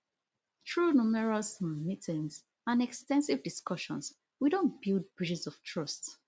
through numerous um meetings and ex ten sive discussions we don build bridges of trust